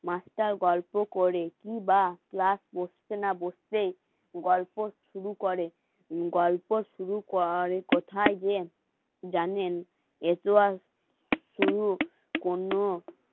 মাছটা গল্প করে বা বসে না বসেই গল্প শুরু করে গল্প শুরু কর কোথায় যে জানেন কোনো